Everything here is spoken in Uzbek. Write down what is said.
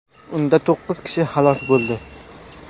Unda to‘qqiz kishi halok bo‘ldi.